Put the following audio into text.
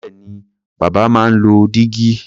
Bẹ́ẹ̀ni, bàbá máa ń lo dígí.